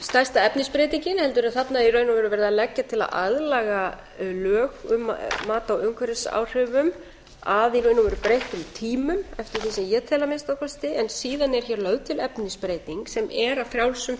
stærsta efnisbreytingin heldur er þarna í raun og veru verið að leggja til að aðlaga lög um mat á umhverfisáhrifum að í raun og veru breyttum tímum eftir því sem ég tel að minnsta kosti en síðan er hér lögð til efnisbreyting sem er að frjálsum